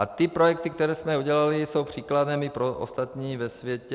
A ty projekty, které jsme udělali, jsou příkladem i pro ostatní ve světě.